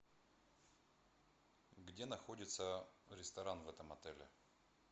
где находится ресторан в этом отеле